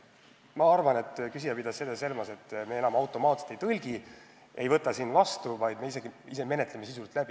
Ma arvan, et küsija pidas seda silmas, et me enam automaatselt ei võta üle ega tõlgi kõike, vaid arutame direktiivid sisuliselt läbi.